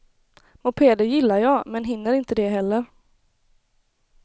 Mopeder gillar jag men hinner inte det heller.